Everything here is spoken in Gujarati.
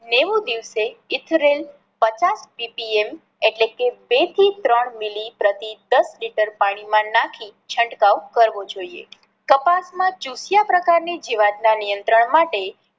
નેવું દિવસે ethrel પચાસ CPM એટલે કે બે થી ત્રણ મિલી પ્રતિ દસ લિટર પાણી માં નાખી છંટકાવ કરવો જોઈએ. કપાસ માં ચુથીયા પ્રકાર ની જીવાત ના નિયત્રંણ માટે